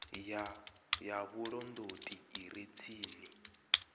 ya vhulondoti i re tsini